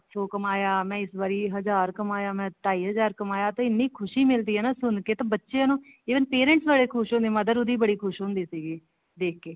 ਜੋ ਕਮਾਇਆ ਮੈਂ ਇਸ ਵਾਰ ਹਜ਼ਾਰ ਕਮਾਇਆ ਤੇ ਮੈਂ ਢਾਈ ਹਜ਼ਾਰ ਕਮਾਇਆ ਤੇ ਇੰਨੀ ਖੁਸ਼ੀ ਮਿਲਦੀ ਹੈ ਨਾ ਸੁਣ ਕੇ ਬੱਚਿਆਂ ਨੂੰ even parents ਬੜੇ ਖੁਸ਼ ਹੁੰਦੇ ਹਾ mother ਉਹਦੀ ਬੜੀ ਖੁਸ਼ ਹੁੰਦੀ ਸੀ ਦੇਖ ਕੇ